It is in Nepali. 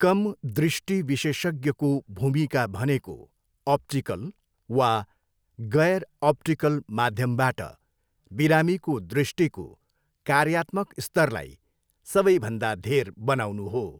कम दृष्टि विशेषज्ञको भूमिका भनेको अप्टिकल वा गैर अप्टिकल माध्यमबाट बिरामीको दृष्टिको कार्यात्मक स्तरलाई सबैभन्दा धेर बनाउनु हो।